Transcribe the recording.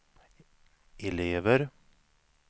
elever